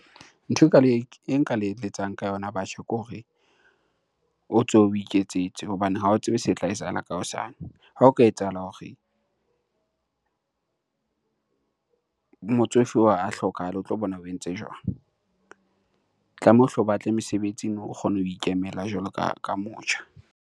Ntho e ka le, e nka le eletsang ka yona batjha ke hore o tsohe, o iketsetse. Hobane ha o tsebe se tla etsahala ka hosane. Ha o ka etsahala hore motsofe oo a hlokahale o tlo bona o entse jwang? Tlameha o hle o batle mesebetsi nou o kgona ho ikemela jwalo ka motjha.